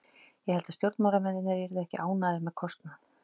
Ég held að stjórnarmennirnir yrðu ekki ánægðir með kostnað.